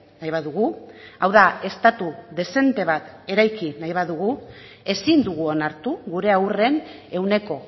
nahi badugu hau da estatu dezente bat eraiki nahi badugu ezin dugu onartu gure haurren ehuneko